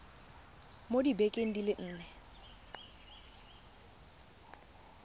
mo dibekeng di le nne